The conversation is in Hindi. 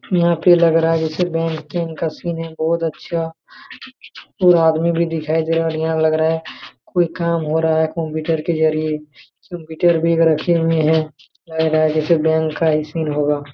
यहां पे लग रहा है जैसे बैंक तेकं का सीन है बहुत अच्छा और आदमी भी दिखाई दे रहा है और यहां लग रहा है कोई काम हो रहा है कंप्यूटर के जरिए कंप्यूटर भी रखे हुए है लग रहा जैसे बैंक का ही सीन होगा।